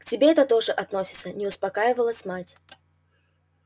к тебе это тоже относится не успокаивалась мать